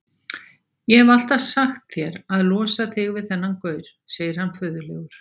Ég hef alltaf sagt þér að losa þig við þennan gaur, segir hann föðurlegur.